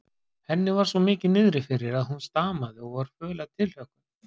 Henni var svo mikið niðri fyrir að hún stamaði og var föl af tilhlökkun.